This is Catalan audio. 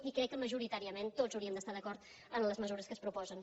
i crec que majoritàriament tots hauríem d’estar d’acord en les mesures que es proposen